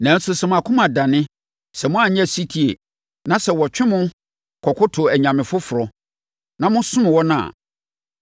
Nanso sɛ mo akoma dane, sɛ moanyɛ ɔsetie, na sɛ wɔtwe mo kɔkoto anyame foforɔ, na mosom wɔn a,